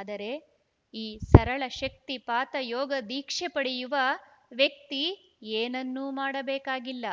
ಆದರೆ ಈ ಸರಳ ಶಕ್ತಿಪಾತ ಯೋಗದೀಕ್ಷೆ ಪಡೆಯುವ ವ್ಯಕ್ತಿ ಏನನ್ನೂ ಮಾಡಬೇಕಾಗಿಲ್ಲ